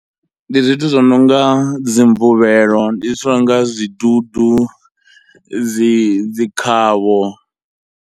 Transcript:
Ndi zwithu zwononga dzi mvuvhelo, ndi zwithu zwinonga zwidudu, dzi dzi khavho.